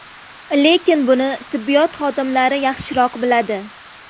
Lekin buni tibbiyot xodimlari yaxshiroq biladi.